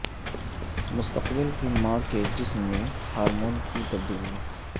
مستقبل کی ماں کے جسم میں ہارمون کی تبدیلیاں